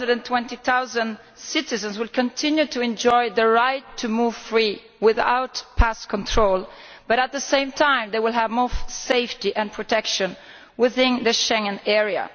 420 million citizens will continue to enjoy the right to move freely without passport control, but at the same time they will have more safety and protection within the Schengen area.